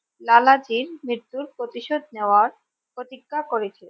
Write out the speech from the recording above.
লালাজীর মৃত্যুর প্রতিশোধ নেওয়ার প্রতিজ্ঞা করেছিলেন।